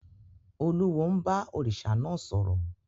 Olúwo ń bá òrìṣà náà sọ̀rọ̀.